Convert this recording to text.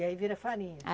E aí vira farinha?